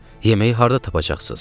Yeməyi harda tapacaqsız?